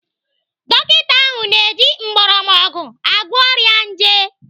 Dọkita ahụ na-eji mgbọrọgwụ agwọ ọrịa nje.